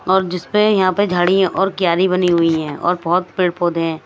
और जिसपे यहां पे झाड़ी है और क्यारी बनी हुई है और बहोत पेड़ पौधे हैं।